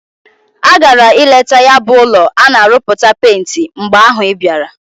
Agara ileta ya bu ulo ana aruputa penti. mgbe ahu ibiara.